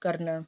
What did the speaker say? ਕਰਨਾ ਏ